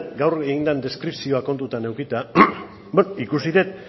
gaur egin den deskripzioa kontutan edukita ikusi dut